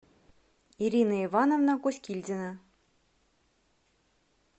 ирина ивановна кускильдина